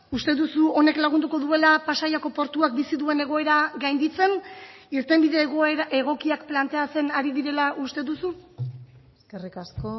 uste duzu honek lagunduko duela pasaiako portuak bizi duen egoera gainditzen irtenbide egokiak planteatzen ari direla uste duzu eskerrik asko